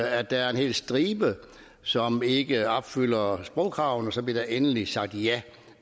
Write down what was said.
at der er en hel stribe som ikke opfylder sprogkravene bliver der endelig sagt ja